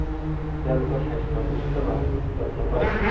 তেওঁলোকৰ স্বাস্থ্য় সুস্থ ৰখাত যত্ন কৰে।